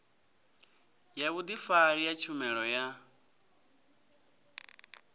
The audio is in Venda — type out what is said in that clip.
ya vhudifari ya tshumelo ya